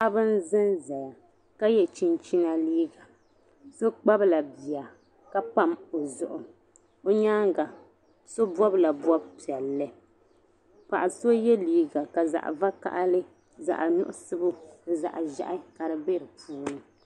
Paɣaba n ʒanʒaya. ka ye chinchina liiga. so m-pahila biya ka pam ɔ zuɣu. nyaaŋa so bɔbla bɔbi piɛli. paɣa so ye liiga ka zaɣi vakahili ni zaɣi muɣisigu nizaɣiʒɛhi be di puuni.